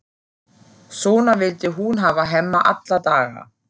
Svona vildi hún hafa Hemma alla daga.